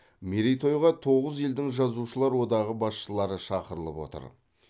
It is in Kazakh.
мерейтойға тоғыз елдің жазушылар одағы басшылары шақырылып отыр